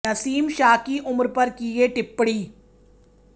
नसीम शाह की उम्र पर की ये टिप्पणी